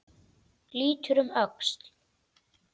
Lítur um öxl.